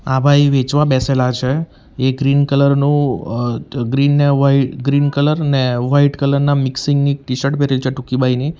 આ ભાઈ વેચવા બેસેલા છે એ ગ્રીન કલર નું અ ગ્રીન ને વાઈટ ગ્રીન કલર ને વાઈટ કલર ના મિક્સિંગ ની ટી-શર્ટ પહેરેલી છે ટૂંકી બાંયની.